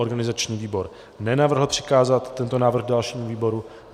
Organizační výbor nenavrhl přikázat tento návrh dalšímu výboru.